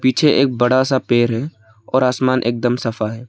पीछे एक बड़ा सा पेड़ है और आसमान एकदम सफा है।